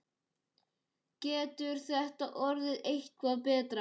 Getur þetta orðið eitthvað betra?